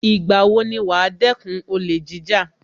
Ìgbà wo ni wàá dẹ́kun olè jíjà